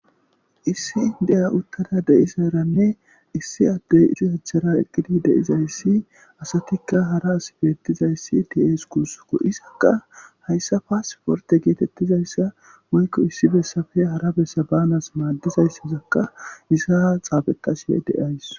Issi indeya uttada de'saranne issi addey izzo achara eqqidi de'zayssi asatikka hara as beettizayssi dees gusako isakka hayssa paasporte geetettizayssa moykko issi bessafe hara bessa banas maaddizayssazakka isaa xaabeqasiye deays.